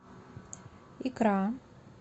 икра